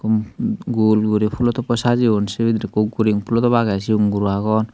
gul guri pulotoppoi sajeyon sey bidirey ekko guring pulotop agey siyon guro agon.